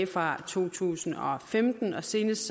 fra to tusind og femten og senest